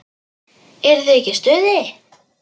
Eruð þið ekki í stuði?